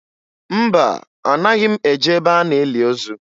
Mba, anaghị m eje ebe a na-eli ozu